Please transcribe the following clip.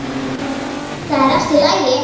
ÞAÐ ER ALLT Í LAGI!